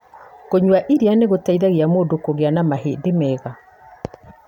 Kũnyua iria nĩ gũteithagia mũndũ kũgĩa na mahĩndĩ mega.